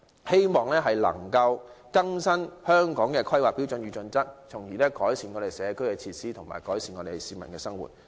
希望當局能夠更新《規劃標準》，從而改善社區設施及市民的生活。